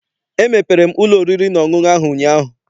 Emepere m ụlọ oriri na ọṅụṅụ ahụ ụnyaahụ.